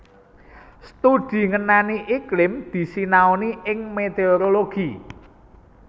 Studi ngenani iklim disinaoni ing météorologi